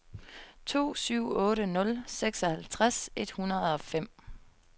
to syv otte nul seksoghalvtreds et hundrede og fem